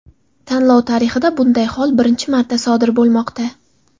Tanlov tarixida bunday hol birinchi marta sodir bo‘lmoqda.